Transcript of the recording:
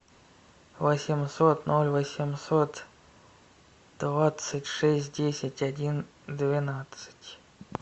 восемьсот ноль восемьсот двадцать шесть десять один двенадцать